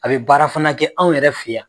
A be baara fana kɛ anw yɛrɛ fe yan